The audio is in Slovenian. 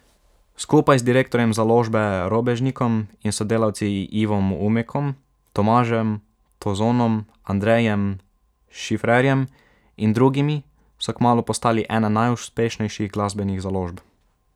Skupaj z direktorjem založbe Robežnikom in sodelavci Ivom Umekom, Tomažem Tozonom, Andrejem Šifrerjem in drugimi so kmalu postali ena najuspešnejših glasbenih založb.